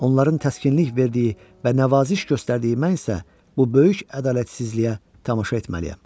Onların təskinlik verdiyi və nəvaziş göstərdiyi mən isə bu böyük ədalətsizliyə tamaşa etməliyəm.